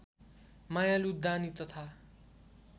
मायालु दानी तथा